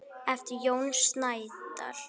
eftir Jón Snædal.